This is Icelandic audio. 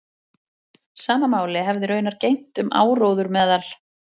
Sama máli hefði raunar gegnt um áróður meðal